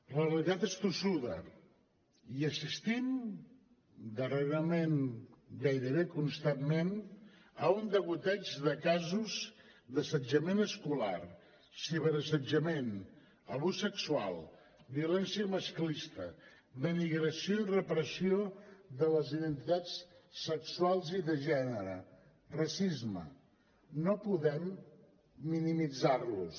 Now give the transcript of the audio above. la realitat és tossuda i assistim darrerament gairebé constantment a un degoteig de casos d’assetjament escolar ciberassetjament abús sexual violència masclista denigració i repressió de les identitats sexuals i de gènere racisme no podem minimitzar los